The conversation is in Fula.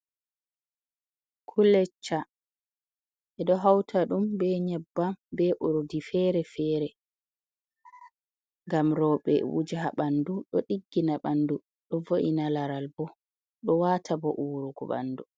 Kulecca, beɗo hauta ɗum be nyebbam, be urɗi fere fere. Ngam robe wujaha ha banɗu. Ɗo ɗiggina bandu, ɗo vo’ina laral, bo ɗo wata bo uwurugo banɗu.